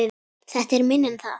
Þetta er minna en það